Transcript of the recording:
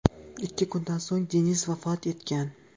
Ikki kundan so‘ng Deniz vafot etgan.